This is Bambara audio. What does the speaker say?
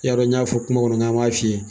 Y'a dɔ n y'a fɔ kuma kɔnɔ k'an b'a fiyɛ